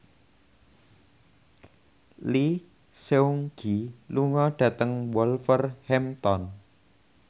Lee Seung Gi lunga dhateng Wolverhampton